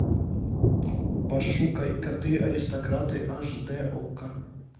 пошукай коты аристократы аш дэ окко